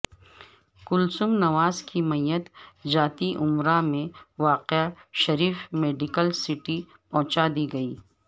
کلثوم نواز کی میت جاتی امراء میں واقع شریف میڈیکل سٹی پہنچا دی گئی